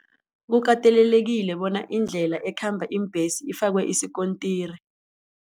Kukatelelekile bona indlela ekhamba iimbhesi ifakwe isikontiri.